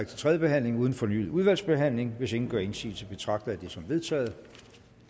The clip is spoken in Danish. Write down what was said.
til tredje behandling uden fornyet udvalgsbehandling hvis ingen gør indsigelse betragter jeg det som vedtaget